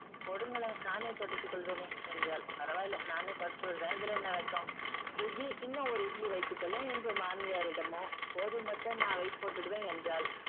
கொடுங்களேன் நானே துடைத்து கொள்வேனே என்றாள். பரவாயில்ல நானே தொடச்சு விடுறேன் இதுல என்ன வெட்கம்? சுஜி இன்னும் ஒரு இட்லி வைய்த்து கொள்ளேன் என்று மாமியாரிடமோ போதும் அத்தை நான் weight போட்டுடுவேன் என்றாள்.